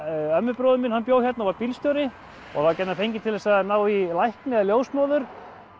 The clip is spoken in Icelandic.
ömmubróðir minn bjó hérna og var bílstjóri og var gjarnan fenginn til þess að ná í lækni eða ljósmóður